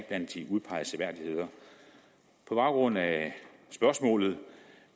blandt de udpegede seværdigheder på baggrund af spørgsmålet